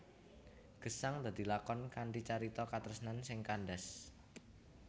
Gesang dadi lakon kanthi carita katresnan sing kandhas